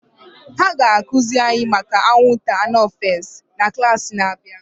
A ga akụziri anyị maka anwụnta anofels na klaasị na-abịa